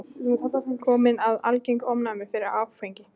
Kominn með algert ofnæmi fyrir áfengi.